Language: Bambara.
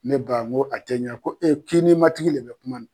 Ne ba n ko ti cɛmini , ko inchE ko e, k'i ntigi ma tigi labɛn kuma naɛ